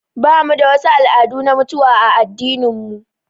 Bamu da wasu al'adu na mutuwa a addinin mu